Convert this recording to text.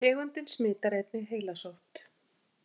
Tegundin smitar einnig heilasótt.